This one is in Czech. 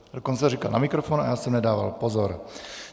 Dokonce říkal na mikrofon a já jsem nedával pozor.